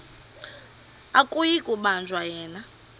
akuyi kubanjwa yena